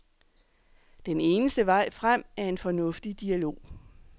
Den eneste vej frem er en fornuftig dialog.